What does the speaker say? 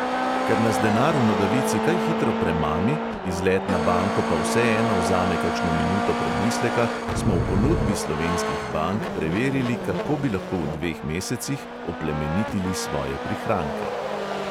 Ker nas denar v nogavici kaj hitro premami, izlet na banko pa vseeno vzame kakšno minuto premisleka, smo v ponudbi slovenskih bank preverili, kako bi lahko v dveh mesecih oplemenitili svoje prihranke.